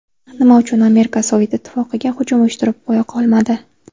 Nima uchun Amerika Sovet Ittifoqiga hujum uyushtirib qo‘ya qolmadi?